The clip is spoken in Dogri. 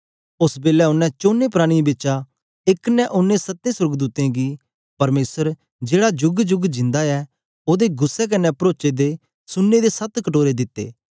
ओस बेलै ओनें चोने प्राणियें बिचा एक ने ओनें सत्ते सोर्गदूतें गी परमेसर जेड़ा जुगा जुग जिंदा ऐ ओदे गुस्सै कन्ने परोचे दे सुने दे सत्त कटोरे दित्ते